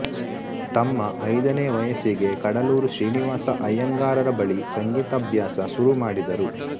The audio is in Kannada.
ತಮ್ಮ ಐದನೇ ವಯಸ್ಸಿಗೆ ಕಡಲೂರು ಶ್ರೀನಿವಾಸ ಅಯ್ಯಂಗಾರರ ಬಳಿ ಸಂಗೀತಾಭ್ಯಾಸ ಶುರು ಮಾಡಿದರು